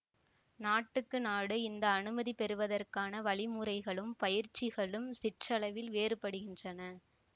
நாட்டுக்கு நாடு இந்த அனுமதிபெறுவதற்கான வழிமுறைகளும் பயிற்சிகளும் சிற்றளவில் வேறுபடுகின்றன